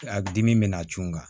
A dimi bɛ n'a cun n kan